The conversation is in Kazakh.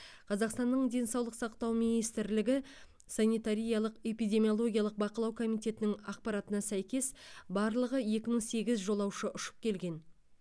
қазақстанның денсаулық сақтау министрлігі санитариялық эпидемиологиялық бақылау комитетінің ақпаратына сәйкес барлығы екі мың сегіз жолаушы ұшып келген